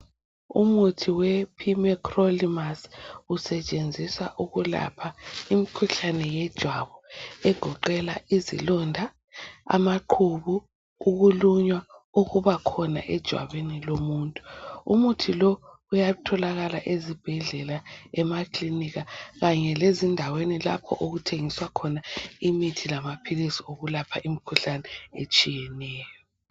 umuthi we primecolimus usetshenziswa ukulapha imkhuhlane yejwabu egoqela izilonda amaqhubu ukulunywa okuba khona ejwabini lomuntu umuthi lo uyatholakala ezibhedlela emakilinika kanye lendaweni lapho okuthengiswa imithi lamaphilisi okulapha imikhuhlane etshiyeneyo